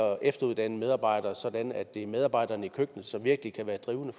efteruddanne medarbejdere sådan at det er medarbejderne i køkkenet som virkelig kan være drivende